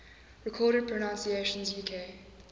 recorded pronunciations uk